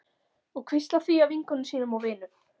Og hvíslað því að vinkonum sínum og vinum.